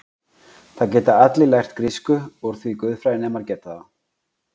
Það geta allir lært grísku úr því guðfræðinemar geta það.